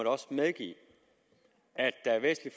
også medgive at der er væsentlig